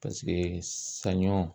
Paseke saɲɔ